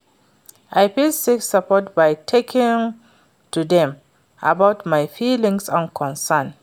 i fit seek support by talking to dem about my feelings and concerns.